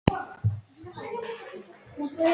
Ókei sagði Oddur með sínum venjulega tómlætis